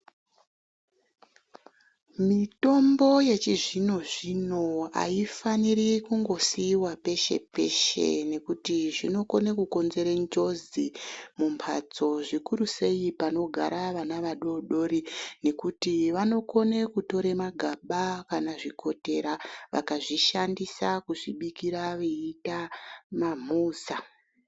Mitombo yechizvino zvino hayifaniri kungosiyiwa poshe poshe nekuti zvinokone kukonzere njodzi mumbatso zvikiru sei panogara vana vadodori nekuti vanokone kutora magaba kana zvikotera vakabikira mamhuza.